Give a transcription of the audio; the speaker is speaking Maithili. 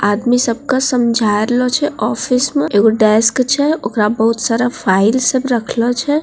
आदमी सबका समझा राइलो छे ऑफिस मे एगो डेस्क छे ओकरा बहुत सारा फाइल सब रखलो छे।